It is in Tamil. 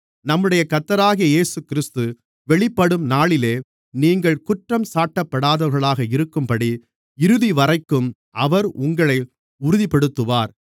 நம்முடைய கர்த்தராகிய இயேசுகிறிஸ்து வெளிப்படும் நாளிலே நீங்கள் குற்றஞ்சாட்டப்படாதவர்களாக இருக்கும்படி இறுதிவரைக்கும் அவர் உங்களை உறுதிப்படுத்துவார்